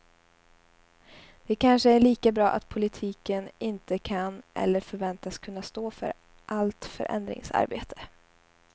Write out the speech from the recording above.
Det kanske är lika bra att politiken inte kan eller förväntas kunna stå för allt förändringsarbete.